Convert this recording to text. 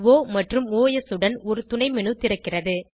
ஒ மற்றும் ஒஸ் உடன் ஒரு துணை மேனு திறக்கிறது